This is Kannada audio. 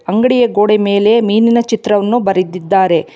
ಅಂಗಡಿಯ ಗೋಡೆಯ ಮೇಲೆ ಮೀನಿನ ಚಿತ್ರವನ್ನು ಬರೆದಿದ್ದಾರೆ.